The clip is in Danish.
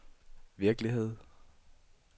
virkelighed